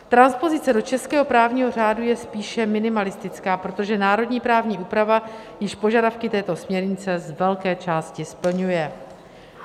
Transpozice do českého právního řádu je spíše minimalistická, protože národní právní úprava již požadavky této směrnice z velké části splňuje.